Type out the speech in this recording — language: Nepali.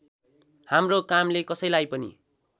हाम्रो कामले कसैलाई पनि